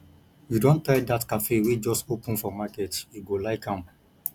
you don try dat cafe wey just open for market you go like am